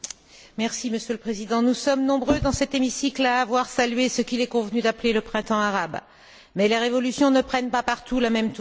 Monsieur le Président, nous sommes nombreux dans cet hémicycle à avoir salué ce qu'il est convenu d'appeler le printemps arabe, mais les révolutions ne prennent pas partout la même tournure.